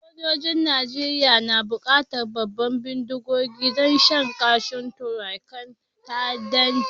Sojoji'n Nijeriya na bukatan babban bindigogi don shan kashin rukunin ta'addancin.